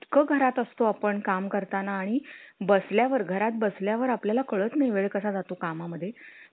घरात असतो आपण काम करताना आणि बसल्या वर घरात बसल्या वर आपल्या ला कळत नाही वेळ कसा जातो कामा मध्ये?